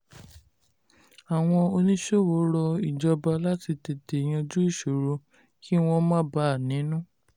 àwọn oníṣòwò rọ ìjọba láti tètè yanjú ìṣòro kí wọ́n má bà a nínú.